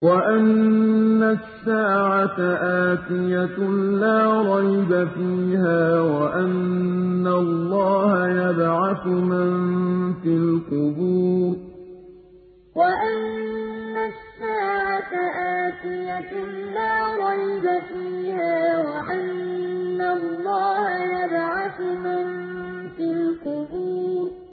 وَأَنَّ السَّاعَةَ آتِيَةٌ لَّا رَيْبَ فِيهَا وَأَنَّ اللَّهَ يَبْعَثُ مَن فِي الْقُبُورِ وَأَنَّ السَّاعَةَ آتِيَةٌ لَّا رَيْبَ فِيهَا وَأَنَّ اللَّهَ يَبْعَثُ مَن فِي الْقُبُورِ